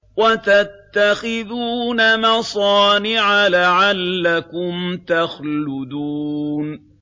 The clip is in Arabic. وَتَتَّخِذُونَ مَصَانِعَ لَعَلَّكُمْ تَخْلُدُونَ